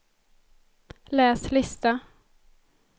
läs lista